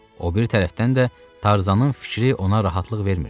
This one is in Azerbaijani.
O biri tərəfdən də Tarzanın fikri ona rahatlıq vermirdi.